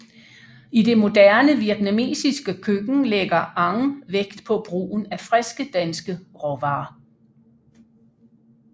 I det moderne vietnamesiske køkken lægger Anh vægt på brugen af friske danske råvarer